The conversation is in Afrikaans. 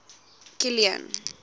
kilian